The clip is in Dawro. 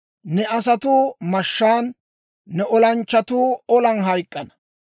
Ne asatuu mashshaan, ne olanchchatuu olan hayk'k'ana.